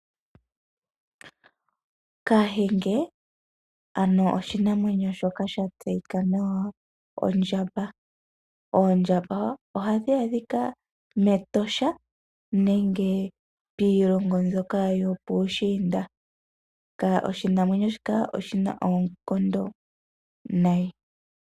Kahenge, oha dhi adhika metosha nenge piilongo mbyoka yo puushiinda. Oshinamwenyo shika oshina oonkondo.